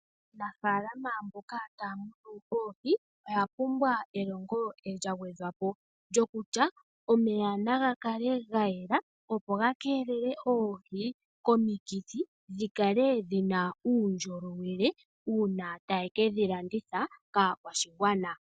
Aanafaalama mboka taya munu oohi oya pumbwa elongo lya gwedhwapo lyoku tya omeya naga kale ga yela opo ga keelele oohi komikithi dhi kale dhina uundjolowele uuna taye kedhi landitha kaakwashigwana.